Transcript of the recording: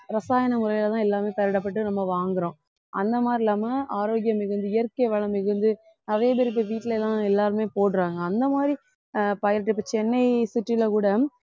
ரசாயன முறையிலதான் எல்லாமே பயிரிடப்பட்டு நம்ம வாங்குறோம் அந்த மாதிரி இல்லாம ஆரோக்கியம் மிகுந்த இயற்கை வளம் மிகுந்து அதே திருப்பி வீட்டுலதான் எல்லாருமே போடுறாங்க அந்த மாதிரி ஆஹ் இப்ப சென்னையை city ல கூட